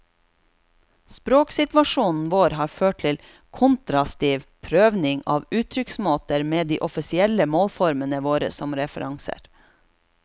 Språksituasjonen vår har ført til kontrastiv prøving av uttrykksmåtar med dei to offisielle målformene våre som referansar.